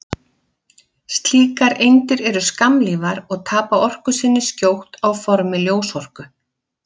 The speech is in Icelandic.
Slíkar eindir eru skammlífar og tapa orku sinni skjótt á formi ljósorku.